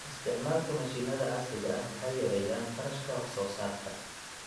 Isticmaalka mashiinada casriga ah waxay yareeyaan kharashka wax soo saarka.